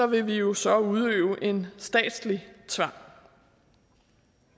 vil vi jo så udøve en statslig tvang